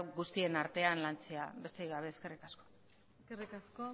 guztien artean lantzea besterik gabe eskerrik asko eskerrik asko